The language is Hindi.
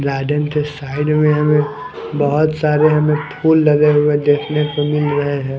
गार्डेन के साइड में हमें बहोत सारे हमें फूल लगे हुए देखने को मिल रहे हैं।